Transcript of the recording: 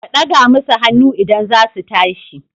Ka daga masu hannu idan za su tashi.